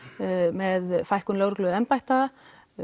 með fækkun lögregluembætta